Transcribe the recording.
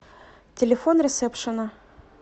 телефон ресепшена